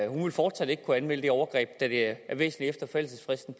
hun vil fortsat ikke kunne anmelde det overgreb da det er væsentligt efter forældelsesfristen